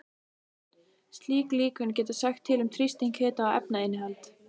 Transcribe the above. Slík líkön geta sagt til um þrýsting, hita og efnainnihald.